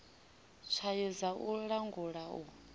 tswayo dza u langula u